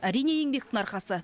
әрине еңбектің арқасы